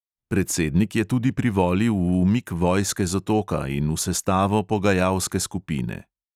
Predsednik je tudi privolil v umik vojske z otoka in v sestavo pogajalske skupine.